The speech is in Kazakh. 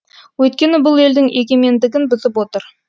өйткені бұл елдің егемендігін бұзып отыр